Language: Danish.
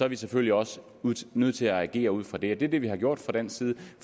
vi selvfølgelig også nødt til at agere ud fra det og det er det vi har gjort fra dansk side